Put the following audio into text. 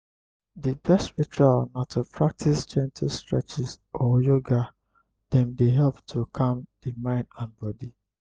di best ritual na to practice gentle streches or yoga dem dey help to calm di mind and body.